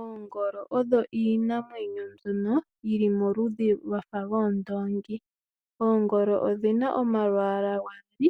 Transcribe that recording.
Oongolo odho iinamwenyo mbyono yili moludhi lwafa lwoondongi. Oongolo odhina omalwaala gaali